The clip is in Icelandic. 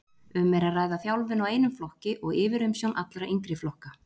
Um er að ræða þjálfun á einum flokki og yfirumsjón allra yngri flokka.